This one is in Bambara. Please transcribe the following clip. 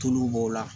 Tulu b'o la